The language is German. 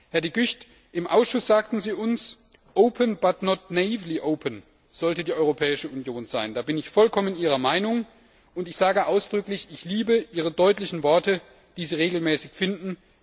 Herr De Gucht, im Ausschuss sagten Sie uns, open but not naively open sollte die Europäische Union sein. Da bin ich vollkommen Ihrer Meinung, und ich sage ausdrücklich Ich liebe Ihre deutlichen Worte, die Sie regelmäßig finden.